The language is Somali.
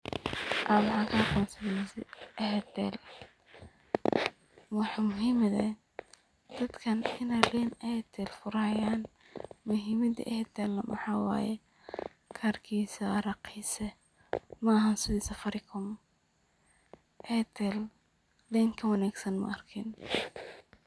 Aniga waxan kaaqonsade Airtel. Waxa muhiimada ee dadkan iney leen airtel furanayan muhiimada airtel waxa waye karkisa waraqisa maahan sidii Safaricom, airtel leen kawagnsan maarkin.